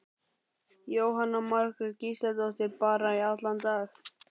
Jóhanna Margrét Gísladóttir: Bara í allan dag?